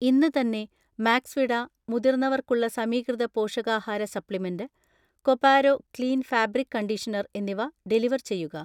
ഇന്ന് തന്നെ മാക്സ്വിട മുതിർന്നവർക്കുള്ള സമീകൃത പോഷകാഹാര സപ്ലിമെന്റ്, കൊപാരോ ക്ലീൻ ഫാബ്രിക് കണ്ടീഷണർ എന്നിവ ഡെലിവർ ചെയ്യുക